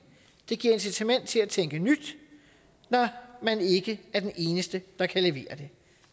det giver incitament til at tænke nyt når man ikke er den eneste der kan levere det